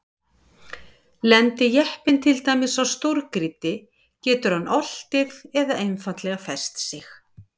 Lendi jeppinn til dæmis á stórgrýti getur hann oltið eða einfaldlega fest sig.